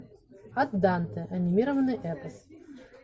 ад данте анимированный эпос